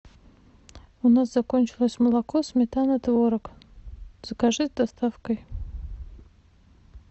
у нас закончилось молоко сметана творог закажи с доставкой